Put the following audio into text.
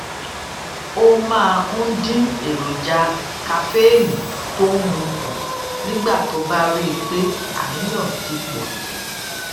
má bínú sí um mi basketballmouth rawọ ẹbẹ sí ay um àti àwọn miran